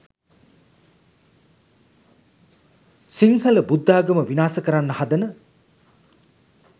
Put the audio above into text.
සිංහල බුද්දාගම විනාස කරන්න හදන